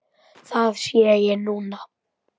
Það sé ég núna.